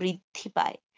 বৃদ্ধি পায়.